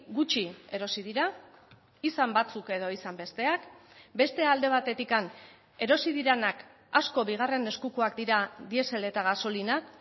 gutxi erosi dira izan batzuk edo izan besteak beste alde batetik erosi direnak asko bigarren eskukoak dira diesel eta gasolinak